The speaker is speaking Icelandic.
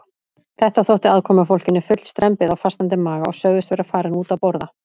Þetta þótti aðkomufólkinu full strembið á fastandi maga og sögðust vera farin út að borða.